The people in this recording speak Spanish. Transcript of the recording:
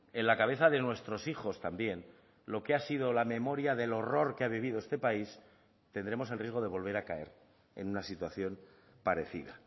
en la cabeza de nuestros hijos también lo que ha sido la memoria del horror que ha vivido este país tendremos el riesgo de volver a caer en una situación parecida